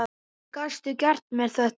Hvernig gastu gert mér þetta?